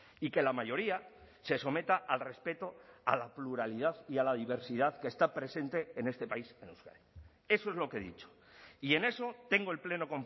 y que la mayoría se someta al respeto a la pluralidad y a la diversidad que está presente en este país en euskadi eso es lo que he dicho y en eso tengo el pleno